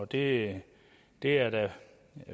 det det er der